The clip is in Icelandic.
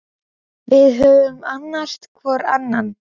Við höfum annast hvor annan.